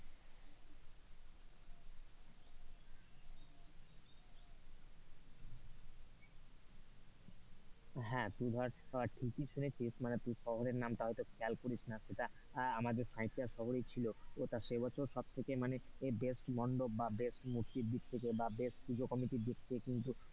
হ্যাঁ তুই ধরে ঠিকই শুনেছিস মানে তুই শহরের নামটা হয়তো খেয়াল করিস নি সেটা আমাদের সাঁইথিয়া শহরই ছিল সেইটা সেবছরই সব থেকে মানে best মণ্ডপ বা best মূর্তির দিক থেকে বা best পুজোকমিটির দিক থেকে কিন্তু,